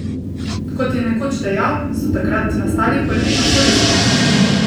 Kot je nekoč dejal, so takrat nastali prvi aforizmi.